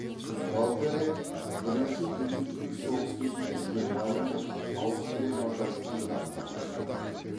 болгария бірінші дүниежүзілік соғыс кезінде германия мен аустрия мажарстан жағында болды